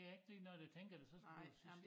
Ikke lige når det tænker så skulle så skulle